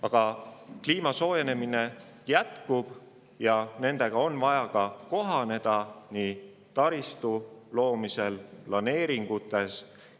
Aga kliima soojenemine jätkub ja kliimamuutustega on vaja kohaneda, näiteks taristu rajamisel ja planeeringute.